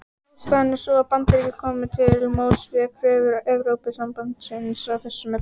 Ástæðan er sú að Bandaríkin komu til móts við kröfur Evrópusambandsins í þessum efnum.